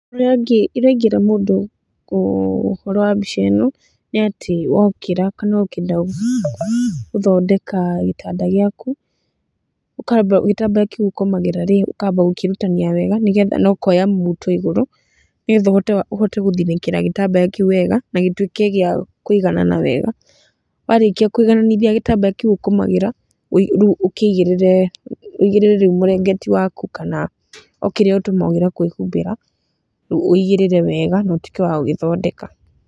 Ũrĩa ingĩĩra mũndũ ũhoro wa mbica ĩno nĩ atĩ wookĩra kana ũkĩenda gũthondeka gĩtanda gĩaku, ũkaamba gĩtambaya kĩu ũkomagĩra rĩ, ũkaamba gũkĩrutania wega, nĩgetha, na ũkoya muto igũrũ nĩgetha ũhote gũthinĩkĩra gĩtambaya kĩu wega na gĩtuĩke gĩa kũiganana wega. Warĩkia kũigananithia gĩtambaya kĩu ũkomagĩra, rĩu ũkĩigĩrĩre, wũigĩrĩre rĩu mũrĩngĩti waku kana, o kĩrĩa ũtũmagĩra kwĩhumbĩra, rĩu ũigĩrĩre wega na ũtuĩke wa gũgĩthondeka.